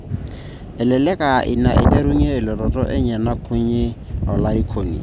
Elelek aa ine eiterunye elototo enye nakunye olarikoni.